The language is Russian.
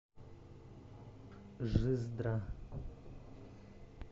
жиздра